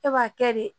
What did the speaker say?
E b'a kɛ de